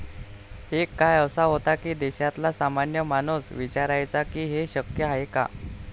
एक काळ असा होता की देशातला सामान्य माणूस विचारायचा की हे शक्य आहे का?